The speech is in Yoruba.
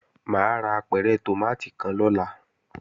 Mà á ra apẹ̀rẹ̀ tòmátì kan lọ́la